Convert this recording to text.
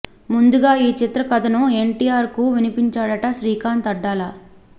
ముందుగా ఈ చిత్ర కథ ను ఎన్టీఆర్ కు వినిపించాడట శ్రీకాంత్ అడ్డాల